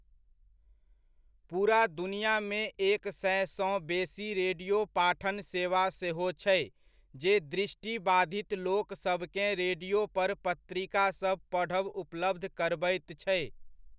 पूरा दुनियामे एक सएसँ बेसी रेडियो पाठन सेवा सेहो छै जे दृष्टिबाधित लोक सबकेँ रेडियो पर पत्रिकासभ पढ़ब उपलब्ध करबैत छै।